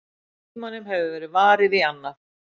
Tímanum hefur verið varið í annað.